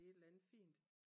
I et eller andet fint